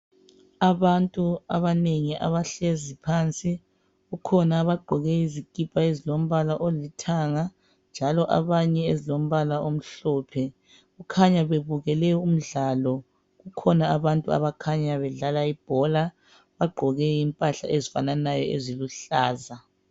abantu abanengi abahlezi phansi kukhona abagqoke izikipa ezilombala olithanga njalo abanye ezilombala omhlophe kukhanya bebukele umdlalo kukhona abantu abakhanya bedlala ibhola bagqoke impahla ezifananayo eziluhlaza